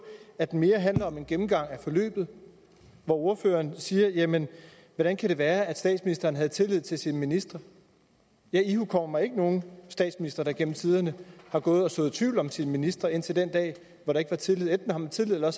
at den mere handler om en gennemgang af forløbet hvor ordføreren siger jamen hvordan kan det være at statsministeren havde tillid til sin minister jeg ihukommer ikke nogen statsminister der gennem tiderne har gået og sået tvivl om sine ministre indtil den dag hvor der ikke var tillid enten har man tillid eller